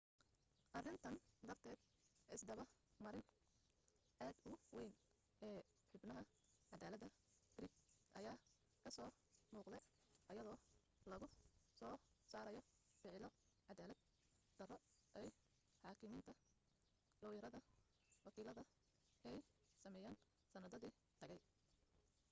arintan darteed isdaba marin aad u weyn ee xubnaha cadaalada greek ayaa kasoo muuqde ayadoo lagu soo saarayo ficilo cadaalad daro ay xaakimiinta looyarada wakiilada ay sameyeen sanadadii tagay